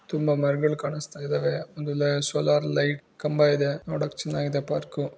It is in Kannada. ತುಂಬಾ ಮರಗಳು ಕಾಣಸ್ತಾ ಇದ್ದಾವೆ ಆಮೇಲೆ ಸೋಲಾರ್ ಲೈಟ್ ಕಂಬಯಿದೆ. ನೋಡಕ್ ಚೆನ್ನಾಗಿದೆ ಪಾರ್ಕು .